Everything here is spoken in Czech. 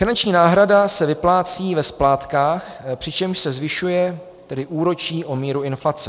Finanční náhrada se vyplácí ve splátkách, přičemž se zvyšuje, tedy úročí, o míru inflace.